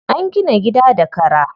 An gina gida da kara.